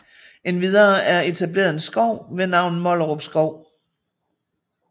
Endvidere er etableret en skov ved navn Mollerup Skov